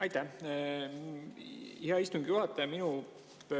Aitäh, hea istungi juhataja!